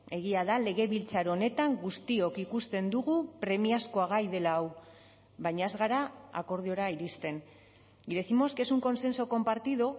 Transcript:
egia da legebiltzar honetan guztiok ikusten dugu premiazkoa gai dela hau baina ez gara akordiora iristen y décimos que es un consenso compartido